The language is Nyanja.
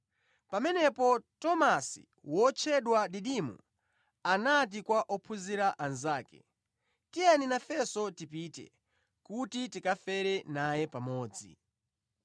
Pamenepo Tomasi, wotchedwa Didimo, anati kwa ophunzira anzake, “Tiyeni nafenso tipite, kuti tikafere naye pamodzi.”